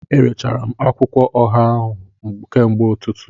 Erechara m akwụkwọ ọha ahụ kamgbe ụtụtụ